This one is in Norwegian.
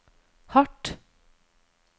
hardt